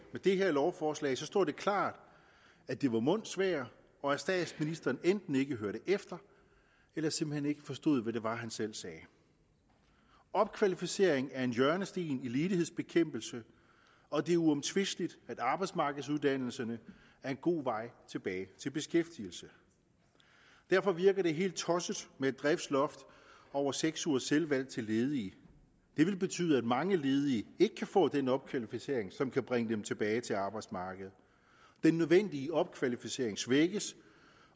med det her lovforslag står det klart at det var mundsvejr og at statsministeren enten ikke hørte efter eller simpelt hen ikke forstod hvad det var han selv sagde opkvalificering er en hjørnesten i ledighedsbekæmpelsen og det er uomtvisteligt at arbejdsmarkedsuddannelserne er en god vej tilbage til beskæftigelse derfor virker det helt tosset med et prisloft over seks ugers selvvalgt uddannelse til ledige det vil betyde at mange ledige ikke kan få den opkvalificering som kan bringe dem tilbage til arbejdsmarkedet den nødvendige opkvalificering svækkes